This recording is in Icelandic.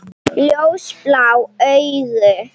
Ljósblá augu.